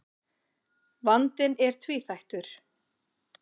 Vandinn er tvíþættur.